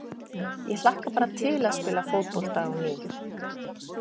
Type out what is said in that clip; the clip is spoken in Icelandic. Ég hlakka bara til að spila fótbolta á ný.